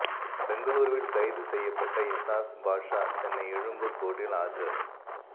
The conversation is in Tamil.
பெங்களூருவில் கைது செய்யப்பட்ட இசாஸ் பாஷா சென்னை எழும்பூர் கோர்ட்டில் ஆஜர்